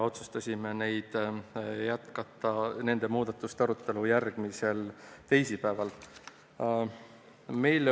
Otsustasime jätkata nende muudatuste arutelu järgmisel teisipäeval.